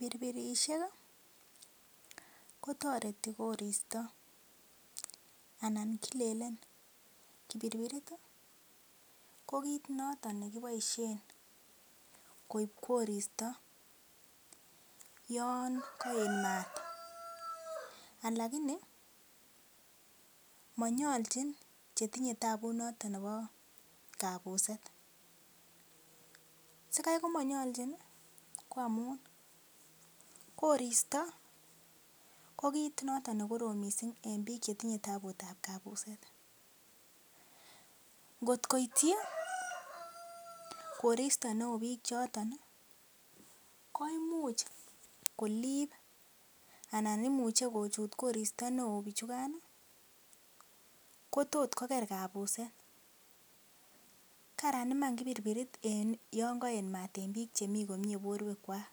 Pirpirishek kotoreti koristo anan kilelen pirpirit ko kiit noton ne kiboisien koib koristo yon koet maat. Lakini monyolchin che tinye tabut noton nebo kabuset sikai komonyolchin ko amun koristo ko kiit noton ne korom mising en biik che tinye taabut ab kabuset. Ngotko ityi koristo neo biik choto ko imuch kolib anan imuche kochut koristo neo bichukan kotot koger kabuset karan iman kipirpirit yon koet maat en biik che mi komyee borwekwak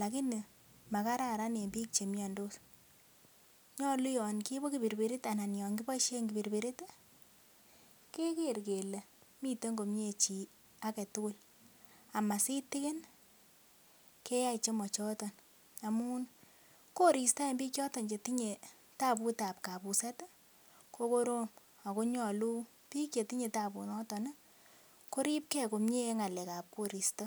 lakini makararan en biik che miandos. Nyolu yon kiibu kipirpirit anan yon kiboisiien kipirpirit keger kele miten komyee agetugul ama sitikin keyai chemochoton. Amun koristo en biik choton che tinye tabut ab kabuset ko korom ago nyolu biik che tinye tabunoto koribge komye en ng'alekab koristo.